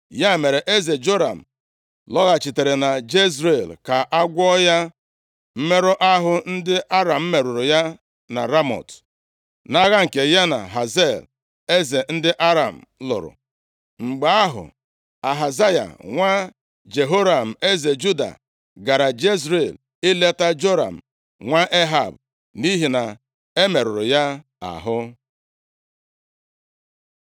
Ya mere, eze Joram lọghachitere na Jezril, ka a gwọọ ya mmerụ ahụ ndị Aram merụrụ ya na Ramọt, nʼagha nke ya na Hazael eze Aram lụrụ. Mgbe ahụ, Ahazaya nwa Jehoram eze Juda, gara Jezril ileta Joram nwa Ehab, nʼihi na e merụrụ ya ahụ.